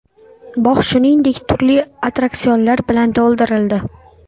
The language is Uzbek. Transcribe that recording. Bog‘ shuningdek, turli attraksionlar bilan to‘ldirildi.